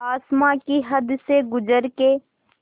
आसमां की हद से गुज़र के